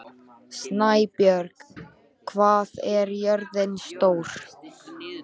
Snæbjörg, hvað er jörðin stór?